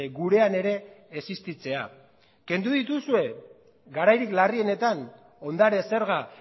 gurean ere existitzea kendu dituzue garairik larrienetan ondare zerga